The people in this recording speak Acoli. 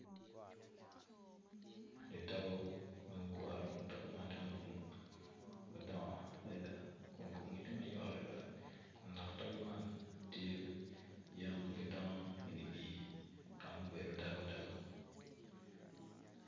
Di togo magugure kun togo man ti madwong madong adida kun kumgi ti mayot adida kun dok togo man tye yen ma gidongo idi pii ka mubedo dagu dagu